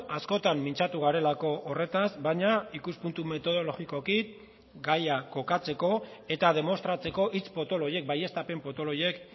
askotan mintzatu garelako horretaz baina ikuspuntu metodologikoki gaia kokatzeko eta demostratzeko hitz potolo horiek baieztapen potolo horiek